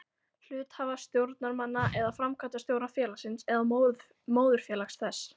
hluthafa, stjórnarmanna eða framkvæmdastjóra félagsins eða móðurfélags þess.